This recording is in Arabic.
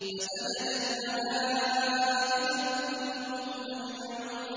فَسَجَدَ الْمَلَائِكَةُ كُلُّهُمْ أَجْمَعُونَ